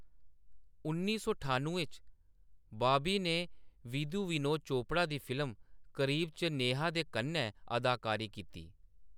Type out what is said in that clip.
उन्नी सौ ठानुएं च, बाबी ने विधु विनोद चोपड़ा दी फिल्म, करीब च नेहा दे कन्नै अदाकारी कीती।